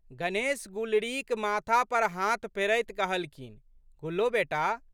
गणेश गुलरीक माथा पर हाथ फेरैत कहलखिन, गुल्लो बेटा!